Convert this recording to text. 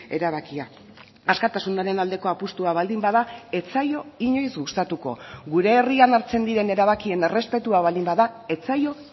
erabakia askatasunaren aldeko apustua baldin bada ez zaio inoiz gustatuko gure herrian hartzen diren erabakien errespetua baldin bada ez zaio